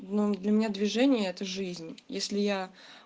ну для меня движение это жизнь если я